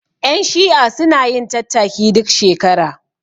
Ƴan shi'a sunayin tattaki duk shekara